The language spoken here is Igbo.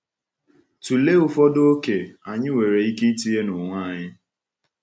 Tụlee ụfọdụ oke anyị nwere ike itinye n’onwe anyị.